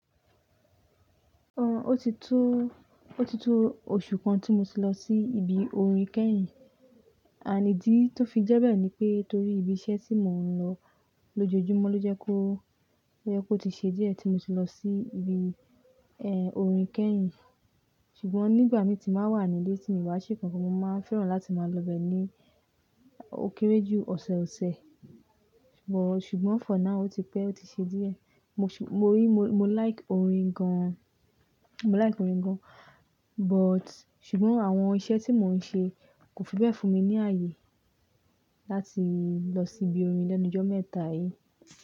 Ọ, ó ti tó, ó ti tó oṣù kan tí mo ti lọ sí ibi orin kẹ́yìn. And ìdí tó fi jẹ́ bẹ́ẹ̀ ni pé torí ibi iṣẹ́ tí mò ń lọ lójoojúmọ́ ló jẹ́ kó, ló jẹ́ kó ti ṣe díẹ̀ tí mo ti lọ sí ibi, ẹ́, orin kẹ́yìn. Ṣùgbọ́n nígbà mí tí màá wà nílé, tí ìwá ṣe kankan, mo máa fẹ́ràn láti máa lọ bẹ́ẹ̀ ní ó kéré jù ọ̀sẹ̀ọ̀sẹ̀. But, ṣùgbọ́n for now ó ti pẹ́, ó ti ṣe díẹ̀. Mo ṣù, mo rí, mo, mo like orin gan-an, mo like orin gan-an, but ṣùgbọ́n àwọn iṣẹ́ tí mò ń ṣe kò fi bẹ́ẹ̀ fún mi ní àyè láti lọ síbi orin lẹ́nu ijo mẹ́ta yìí.